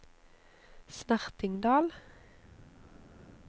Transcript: Snertingdal